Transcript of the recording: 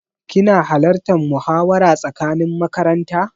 Kina halartan muhawara tsakanin makaranta?